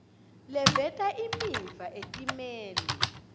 leveta imiva etimeni